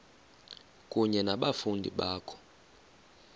kunye nabafundi bakho